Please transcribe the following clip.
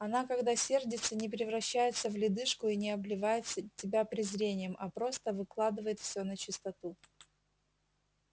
она когда сердится не превращается в ледышку и не обливает тебя презрением а просто выкладывает всё начистоту